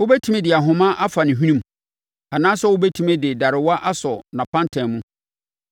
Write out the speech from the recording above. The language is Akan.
Wobɛtumi de ahoma afa ne hwenemu, anaasɛ wobɛtumi de darewa asɔ nʼapantan mu?